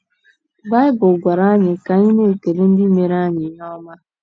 Baịbụl gwara anyi ka anyị na - ekele ndị meere anyị ihe ọma.